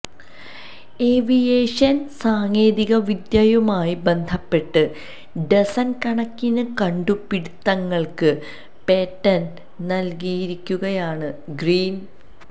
aviation സാങ്കേതികവിദ്യയുമായി ബന്ധപ്പെട്ട് dozen കണക്കിന് കണ്ടുപിടിത്തങ്ങൾക്ക് പേറ്റന്റ് നൽകിയിരിക്കുകയാണ് ഗ്രീൻ